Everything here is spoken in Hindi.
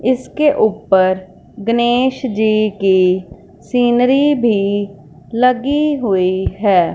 इसके ऊपर गनेश जी की सीनरी भी लगी हुई है।